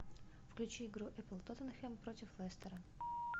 включи игру апл тоттенхэм против лестера